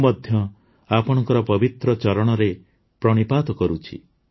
ମୁଁ ମଧ୍ୟ ଆପଣଙ୍କ ପବିତ୍ର ଚରଣରେ ପ୍ରଣିପାତ କରୁଛି